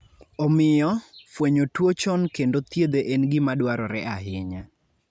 Omiyo, fwenyo tuwo chon kendo thiedhe en gima dwarore ahinya.